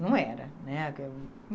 Não era, né?